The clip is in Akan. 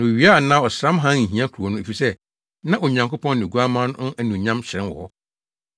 Na owia anaa ɔsram hann nhia kurow no, efisɛ na Onyankopɔn ne Oguamma no anuonyam hyerɛn wɔ hɔ.